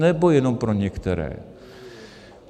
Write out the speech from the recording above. Nebo jenom pro některé?